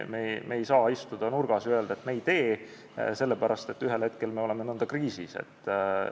Me ei saa istuda nurgas ja öelda, et me seda ei tee, sest ühel hetkel me oleksime nõnda kriisis.